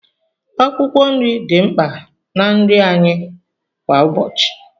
Akwụkwọ nri dị mkpa na nri anyị kwa ụbọchị.